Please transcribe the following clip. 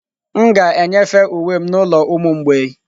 M ga-enyefe uwe m n'ụlọ ụmụ mgbei